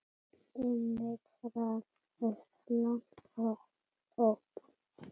Emil rak upp lágt óp.